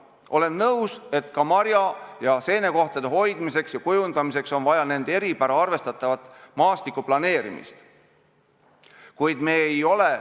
Olen nõus, et ka marja- ja seenekohtade hoidmiseks ja kujundamiseks on vaja nende eripära arvestavat maastikuplaneerimist.